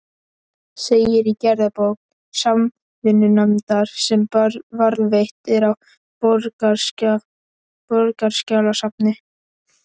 segir í gerðabók Samvinnunefndar, sem varðveitt er á Borgarskjalasafni.